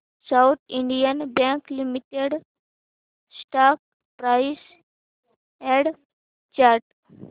south Indian Bank Limited stock price and chart